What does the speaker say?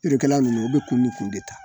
Yirikɛlaw ninnu u be kun ni kun de ta